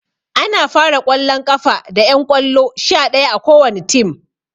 Ana fara ƙwallon ƙafa da ƴan ƙwallo sha ɗaya a kowani tim